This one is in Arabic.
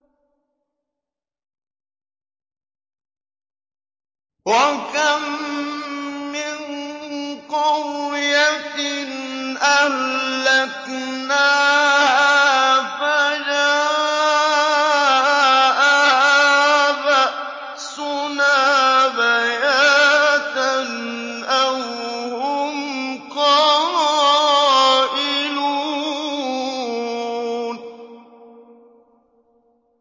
وَكَم مِّن قَرْيَةٍ أَهْلَكْنَاهَا فَجَاءَهَا بَأْسُنَا بَيَاتًا أَوْ هُمْ قَائِلُونَ